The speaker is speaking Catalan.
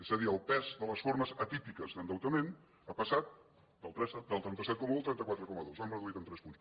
és a dir el pes de les formes atípiques d’endeutament ha passat del trenta set coma un al trenta quatre coma dos l’hem reduït en tres punts